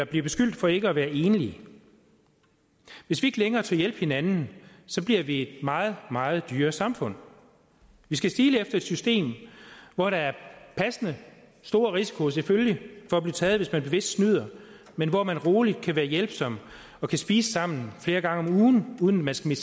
blive beskyldt for ikke at være enlige hvis vi ikke længere tør hjælpe hinanden bliver vi et meget meget dyrere samfund vi skal stile efter et system hvor der er passende stor risiko selvfølgelig for at blive taget hvis man bevidst snyder men hvor man roligt kan være hjælpsom og kan spise sammen flere gange om ugen uden man skal